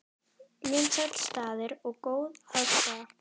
Vinsæll staður og góð aðstaða